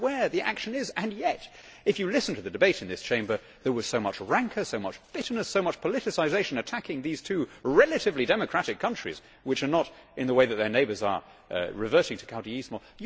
That is where the action is and yet, if you listened to the debate in this Chamber, there was so much rancour, so much bitterness and so much politicisation attacking these two relatively democratic countries which are not, in the way that their neighbours are, reverting to caudillismo'.